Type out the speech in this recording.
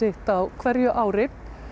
á hverju ári